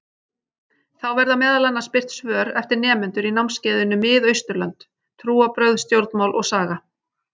Þá verða meðal annars birt svör eftir nemendur í námskeiðinu Mið-Austurlönd: Trúarbrögð, stjórnmál og saga.